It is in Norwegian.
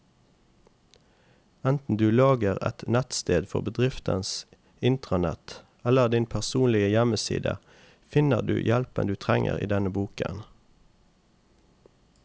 Enten du lager et nettsted for bedriftens intranett eller din personlige hjemmeside, finner du hjelpen du trenger i denne boken.